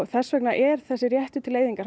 þess vegna er þessi réttur til eyðingar